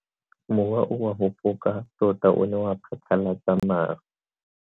Mowa o wa go foka tota o ne wa phatlalatsa maru.